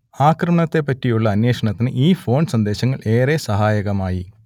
ആക്രമണത്തെപ്പറ്റിയുള്ള അന്വേഷണത്തിന് ഈ ഫോൺ സന്ദേശങ്ങൾ ഏറെ സഹായകമായി